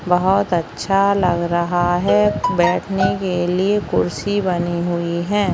बहुत अच्छा लग रहा है बैठने के लिए कुर्सी बनी हुई है।